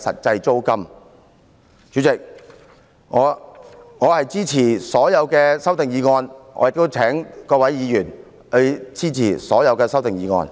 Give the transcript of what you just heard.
主席，我支持所有修正案，亦請各位議員支持這些修正案。